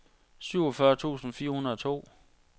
syvogfyrre tusind fire hundrede og to